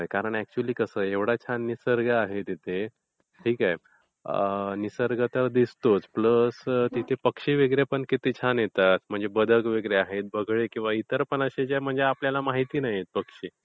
Actually कसं आहे एवढा छान निसर्ग आहे तिथे ठीक आहे? निसर्ग तर दिसतोच प्लस पक्षी पण तिथे किती छान येतात. म्हणजे बदक वगैरे आहेत, बगळे वगैरे म्हणजे इतर पण असे आहेत जे आपल्याला माहीत नाहीत पक्षी.